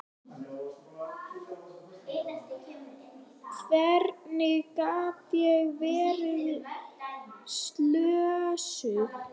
Hvernig gat ég verið slösuð?